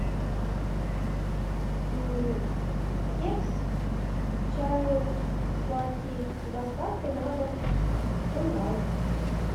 кекс к чаю сладкий с доставкой на дом онлайн